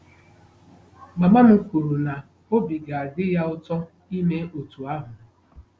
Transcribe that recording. Mama m kwuru na obi ga-adị ya ụtọ ime otú ahụ.